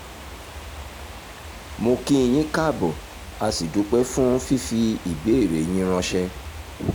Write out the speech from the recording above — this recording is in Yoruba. mo kí i yín káàbò a sì dúpẹ́ fún fífi ìbéèrè yín ránṣẹ́